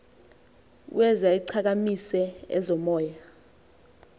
ueuze ichakamise ezomoya